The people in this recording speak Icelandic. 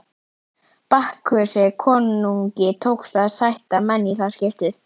Bakkusi konungi tókst að sætta menn í það skiptið.